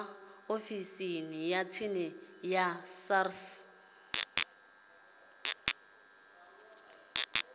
ofisini ya tsini ya sars